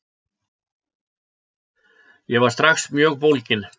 Ég var strax mjög bólginn.